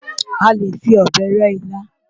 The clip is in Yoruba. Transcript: A lè fi ọ̀bẹ rẹ́ ilá.